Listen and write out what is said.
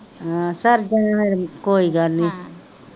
ਹਮ sir ਜਾਣਾ ਕੋਈ ਗੱਲ ਨੀ,